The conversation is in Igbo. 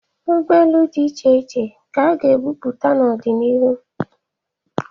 Ugbaelu di iche iche ka a ga-apụta n'ọdị n'iru.